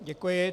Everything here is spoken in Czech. Děkuji.